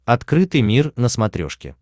открытый мир на смотрешке